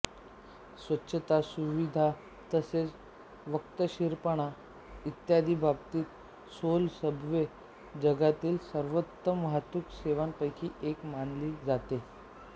स्वच्छता सुविधा तसेच वक्तशीरपणा इत्यादी बाबतीत सोल सबवे जगातील सर्वोत्तम वाहतूक सेवांपैकी एक मानली जाते